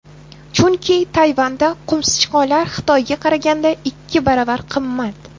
Chunki Tayvanda qumsichqonlar Xitoyga qaraganda ikki baravar qimmat.